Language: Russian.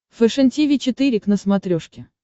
фэшен тиви четыре к на смотрешке